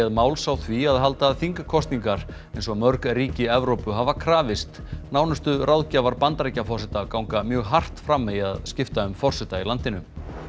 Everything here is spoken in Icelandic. máls á því að halda þingkosningar eins og mörg ríki Evrópu hafa krafist nánustu ráðgjafar Bandaríkjaforseta ganga mjög hart fram í að skipta um forseta í landinu